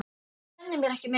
Ég kenni mér ekki meins.